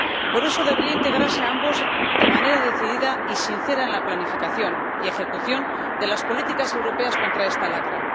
Por eso deberían integrarse ambos aspectos, de manera decidida y sincera, en la planificación y ejecución de las políticas europeas contra esta lacra.